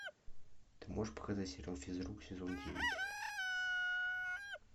ты можешь показать сериал физрук сезон девять